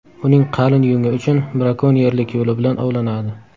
Uning qalin yungi uchun brakonyerlik yo‘li bilan ovlanadi.